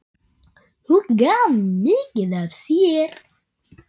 Hún gaf mikið af sér.